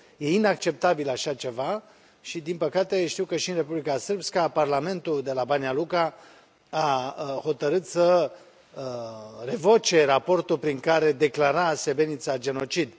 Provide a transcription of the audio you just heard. Este inacceptabil așa ceva și, din păcate, știu că și în Republika Srpska, parlamentul de la Banjaluka a hotărât să revoce raportul prin care declara Srebrenica genocid.